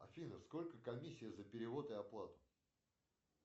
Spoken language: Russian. афина сколько комиссия за перевод и оплату